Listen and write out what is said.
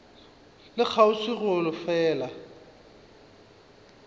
le kgauswi le go fela